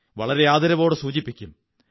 വളരെ ആദരവോടെ സൂചിപ്പിക്കും